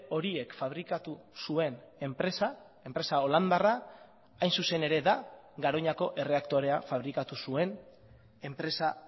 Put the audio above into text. horiek fabrikatu zuen enpresa enpresa holandarra hain zuzen ere da garoñako erreaktorea fabrikatu zuen enpresa